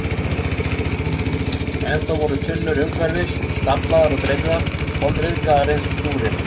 Ennþá voru tunnur umhverfis, staflaðar og dreifðar, kolryðgaðar eins og skúrinn.